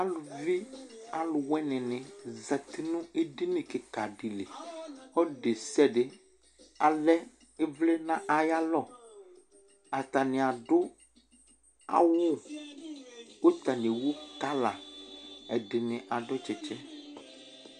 Aluvi alʋ winini zsti nʋ edini kika di li Ɔlʋ desiade alɛ ivli n'ay' alɔ Atani adʋ awʋ k'atani ewu kɔla, ɛdini adʋ tsitsi